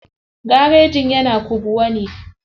Garejin yana kubwa ne.